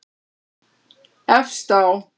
Efst á